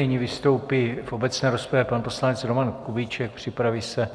Nyní vystoupí v obecné rozpravě pan poslanec Roman Kubíček, připraví se